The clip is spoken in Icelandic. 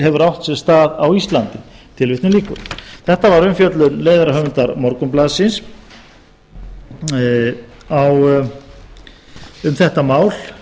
hefur átt sér stað á íslandi tilvitjun lýkur þetta var umfjöllun leiðarahöfundar morgunblaðsins um þetta mál